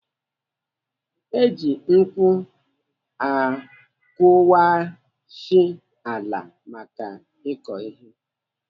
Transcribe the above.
Eji ngwu akụwashi ala maka ịkọ ihe.